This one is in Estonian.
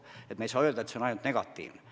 Me ei saa öelda, et protsess on ainult negatiivne.